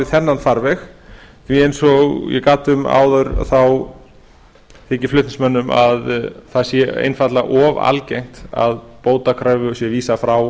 þennan farveg því eins og ég gat um áður þykir flutningsmönnum að það sé einfaldlega of algengt að bótakröfu sé vísað frá